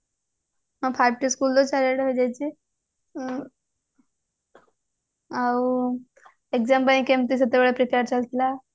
five School ତ ଚାରିଆଡେ ହେଇଯାଇଛି ଆଉ exam ପାଇଁ କେମିତି ସେତେବେଳେ prepare ଚାଲିଥିଲା